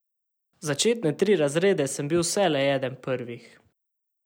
Začetne tri razrede sem bil vselej eden prvih.